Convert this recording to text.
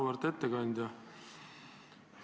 Auväärt ettekandja!